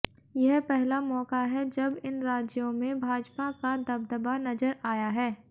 यह पहला मौका है जब इन राज्यों में भाजपा का दबदबा नजर आया है